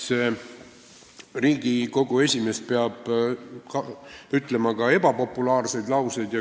Riigikogu esimees peab ütlema ka ebapopulaarseid lauseid.